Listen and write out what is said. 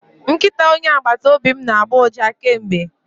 Nkịta onye agbata obi m na-agbọ ụja kemgbe